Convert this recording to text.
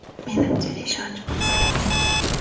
Menimcha, ishonch bo‘lsa kerak.